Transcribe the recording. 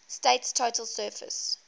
state's total surface